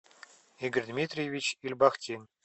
игорь дмитриевич ильбахтин